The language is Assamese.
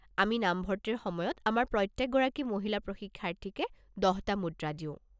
আমি নামভৰ্তিৰ সময়ত আমাৰ প্ৰত্যেক গৰাকী মহিলা প্ৰশিক্ষাৰ্থীকে দহটা মুদ্ৰা দিওঁ।